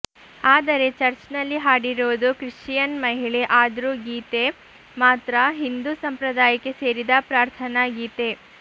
ಆದರೆ ಚರ್ಚ್ನಲ್ಲಿ ಹಾಡಿರೋದು ಕ್ರಿಶ್ಚಿಯನ್ ಮಹಿಳೆ ಆದ್ರೂ ಗೀತೆ ಮಾತ್ರ ಹಿಂದೂ ಸಂಪ್ರದಾಯಕ್ಕೆ ಸೇರಿದ ಪ್ರಾರ್ಥನಾ ಗೀತೆ